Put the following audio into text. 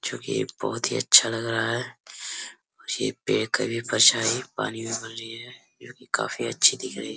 जो की ये बहुत ही अच्छा लग रहा है ये पेड़ का भी परछाई पानी में बन रही है जो कि काफी अच्छी दिख रही है।